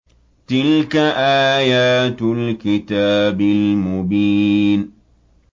تِلْكَ آيَاتُ الْكِتَابِ الْمُبِينِ